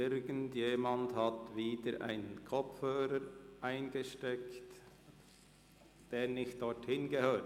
Irgendjemand hat wieder einen Kopfhörer dort eingesteckt, wo dieser nicht hingehört.